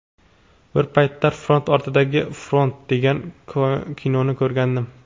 Bir paytlar ‘Front ortidagi front’ degan kinoni ko‘rgandim.